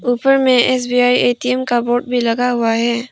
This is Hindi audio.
ऊपर में एस_बी_आई ए_टी_एम का बोर्ड भी लगा हुआ है।